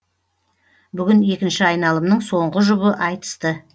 бүгін екінші айналымның соңғы жұбы айтысты